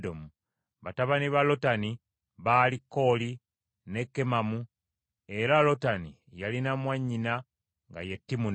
Batabani ba Lotani baali Kooli, ne Kemamu, era Lotani yalina mwannyina nga ye Timuna.